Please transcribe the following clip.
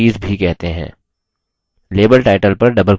इन्हें properties भी कहते हैं